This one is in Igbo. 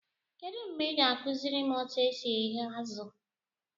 Kedụ mgbe ị ga-akụziri m etu e si eghe azụ?